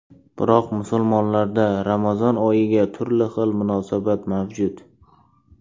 Biroq musulmonlarda Ramazon oyiga turli xil munosabat mavjud.